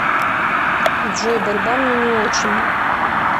джой борьба мне не очень